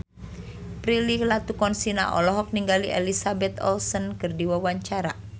Prilly Latuconsina olohok ningali Elizabeth Olsen keur diwawancara